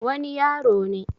wani yaro ne